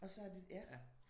Og så har de ja